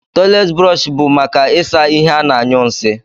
Toilet brọsh bu maka isa ihe ana anyu nsi.